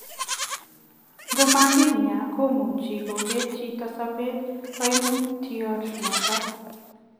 Ngomakinyaa komuchii kobetee chitoo sopeet kaimutio notok.